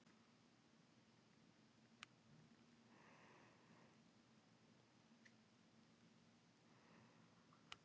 Haugbúunum fylgir, eðlilega, mikill daunn.